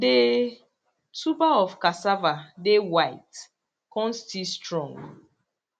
the tuber of casava dey white con still strong